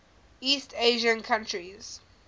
east asian countries